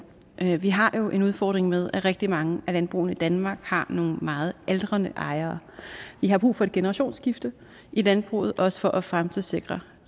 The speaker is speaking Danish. vi har jo en udfordring med at rigtig mange af landbrugene i danmark har nogle meget aldrende ejere vi har brug for et generationsskifte i landbruget også for at fremtidssikre